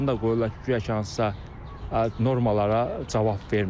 Adını da qoyurlar ki, guya ki hansısa normalara cavab vermir.